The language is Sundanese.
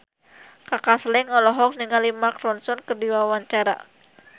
Kaka Slank olohok ningali Mark Ronson keur diwawancara